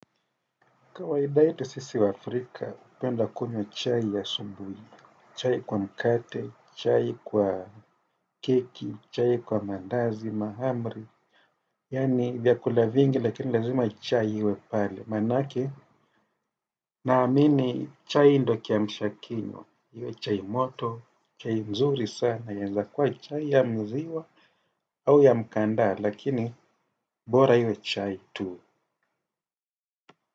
Kawaida yetu sisi waafrika, hupenda kunywa chai asubuhi, chai kwa mkate, chai kwa keki, chai kwa mandazi, mahamri, yani vyakula vingi lakini lazima chai iwe pale, maanake, naamini chai ndiyo kiamsha kinywa, iwe chai moto, chai mzuri sana, inaweza kuwa chai ya maziwa au ya mkanda, lakini bora iwe chai tu.